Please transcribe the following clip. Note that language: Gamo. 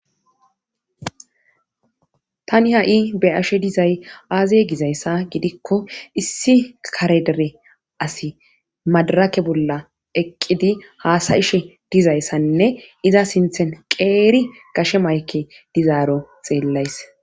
tani ha'i be'ashe dizay aaze gizayssa gidikko issi kare dere asi madarake bolla eqqidi haasayishe dizayssanne iza sinthen qeeri gashe mayke dizaaro xeellays